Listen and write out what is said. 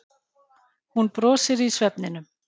Hún brosir í svefninum.